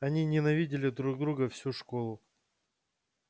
они ненавидели друг друга всю школу